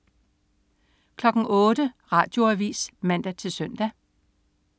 08.00 Radioavis (man-søn)